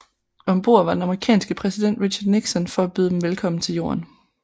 Om bord var den amerikanske præsident Richard Nixon for at byde dem velkommen tilbage til Jorden